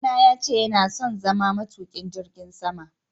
Ɗa na ya ce yana son zama matuƙin jirgin sama.